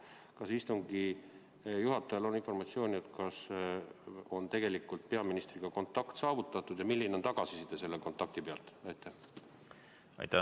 Kas istungi juhatajal on informatsiooni, kas peaministriga on kontakt saavutatud ja milline on tagasiside selle kontakti põhjal?